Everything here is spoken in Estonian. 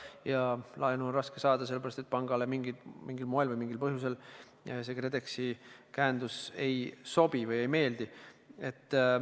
Ja laenu on raske saada sellepärast, et pangale mingil põhjusel see KredExi käendus ei sobi või ei meeldi.